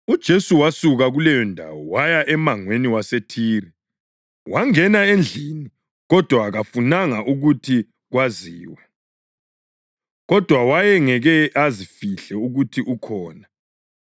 UJesu wasuka kuleyondawo waya emangweni waseThire. Wangena endlini kodwa kafunanga ukuthi kwaziwe; kodwa wayengeke azifihle ukuthi ukhona.